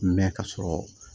Mɛ ka sɔrɔ